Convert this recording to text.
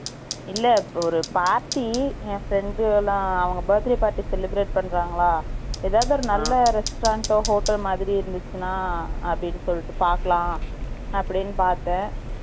இல்லை, ஒரு party , என் friend எல்லாம், அவங்க birthday party celebrate பண்றாங்களா? ஏதாவது, ஒரு நல்ல restaurant ஓ, hotel மாதிரி இருந்துச்சுன்னா, அப்படின்னு சொல்லிட்டு, பார்க்கலாம். அப்படின்னு பார்த்தேன்